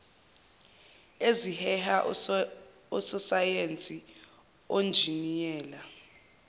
eziheha ososayense onjiniyela